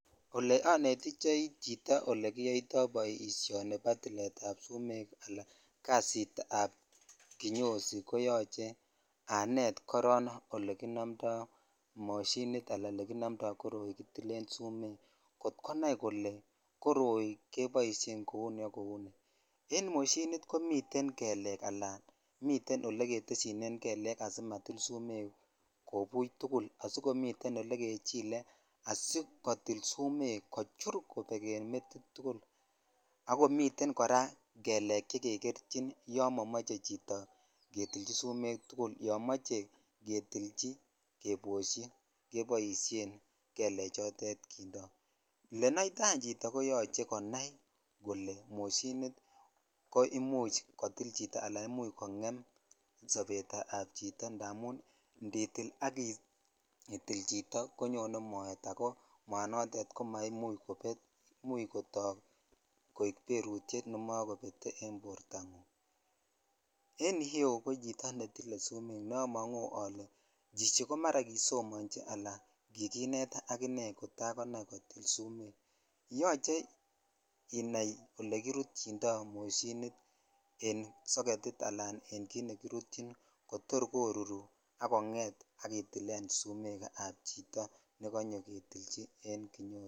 Ole onetitoi chito ole kiyoitoi boishoni nibo tilet ab sumek ala kasit ab kinyozi koyoche anet koron ole kinomtoi moshinit ala olekinomtoi koroi kittle sumek kot konai kole koroi keboisien kou ni ak kou ni en moshinit komi kelekala miten oleketeshinen kelek simatil sumek kobucj tugul asikometen olekechilee asikotil sumek kotil kobek en metit tukul ak komiten koraa kelek che jekerchin yo momoche chito ketilchi sumek tukul yon moche ketichi keboshi jeboshen kelechotet .Olenitoi any chito koyoche konai kole moshinit kotil chito ala kongen sobet ab chito indamun inditil chito konyo moet ko much kotok koik berutyet nebakobetee , en iyeu komiten chito netilchin summek chito ne omong ole chichi ko maraa kisomonchi ala kikinet ak inei kotakonai kole yoche inai olekirutyito moshinit en soketit ala en olekirutyin asikoruru ak itilen sumek ab chito nekonyo ketilchi sumek en kinyozi.